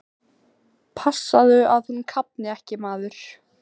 Passaðu að hún kafni ekki, maður!